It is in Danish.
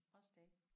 Også det